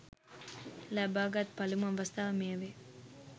ලබාගත් පළමු අවස්ථාව මෙය වේ